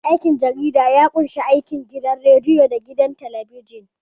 Aikin jarida ya ƙunshi aikin gidan radiyo da gidan talabijin.